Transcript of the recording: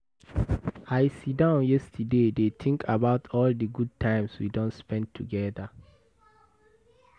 I sit down yesterday dey think about all the good times we don spend together.